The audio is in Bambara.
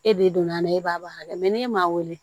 E de donn'a la e b'a bɔ ha kɛ n'e m'a wele